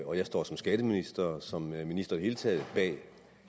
og jeg står som skatteminister og som minister i det hele taget bag